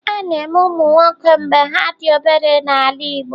A na-eme ụmụ nwoke mgbe ha dị obere n'ala Igbo.